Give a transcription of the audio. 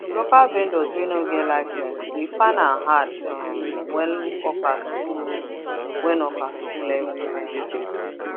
local vendors wey no get license dey find am hard um when hawkers full when hawkers full everywhere um